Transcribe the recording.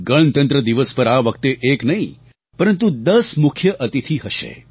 ગણતંત્ર દિવસ પર આ વખતે એક નહીં પરંતુ દસ મુખ્ય અતિથિ હશે